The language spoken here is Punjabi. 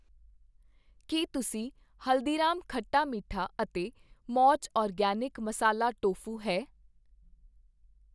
ਕੀ ਤੁਸੀਂ ਹਲਦੀਰਾਮਜ ਖੱਟਾ ਮਿੱਠਾ ਅਤੇ ਮੌਜ ਆਰਗੈਨਿਕ ਮਸਾਲਾ ਟੋਫੂ ਹੈ